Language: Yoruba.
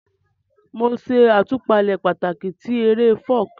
Mo n ṣe àtúpalẹ̀ pàtàkì ti eré Folk